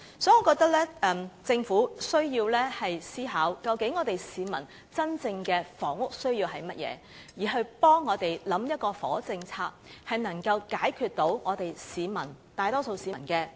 所以，政府需要思考市民真正的房屋需要為何，繼而為我們想出能解決大多數市民的問題的房屋政策。